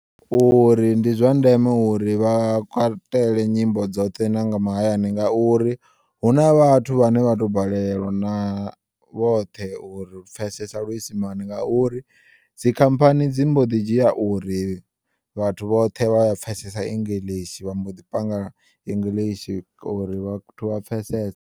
Uri ndi zwa ndeme uri vhakw nyimbo dzoṱhe na nga mahayani ngauri huna vhathu vhane vhato balelwa na vhoṱhe uri u pfesesa luisimani ngauri dzi khamphani dzi mboḓi dzhiya uri vhathu vhoṱhe vhaya pfesesa english vha mboḓi panga english uri vhathu vha pfesese.